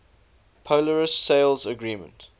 polaris sales agreement